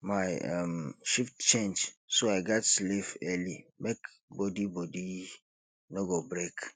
my um shift change so i gats sleep early make body body no go break